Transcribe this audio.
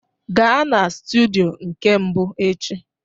Gaa na studio nke mbụ echi!